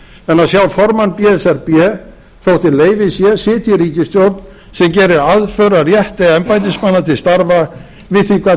að sjá formann b s r b þótt í leyfi sé sitja í ríkisstjórn sem gerir aðför að rétti embættismanna til starfa við því gat